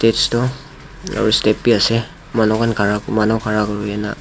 aro step bi asae manu khara kurina